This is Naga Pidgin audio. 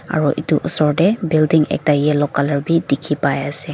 aro itu osor te building ekta yellow color bi dikhi pai ase.